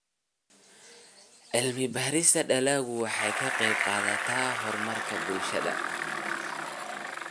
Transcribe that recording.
Cilmi-baarista dalaggu waxay ka qaybqaadataa horumarka bulshada.